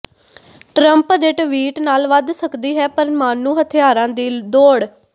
Trump ਦੇ tweet ਨਾਲ ਵੱਧ ਸਕਦੀ ਹੈ ਪਰਮਾਣੂ ਹਥਿਆਰਾਂ ਦੀ ਦੌੜ